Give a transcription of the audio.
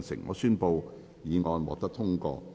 我宣布議案獲得通過。